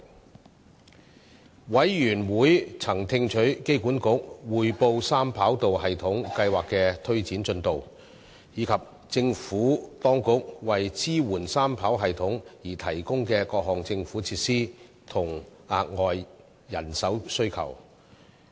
事務委員會曾聽取香港機場管理局匯報三跑道系統計劃的推展進度，以及政府當局為支援三跑道系統而提供的各項政府設施和額外人手需求。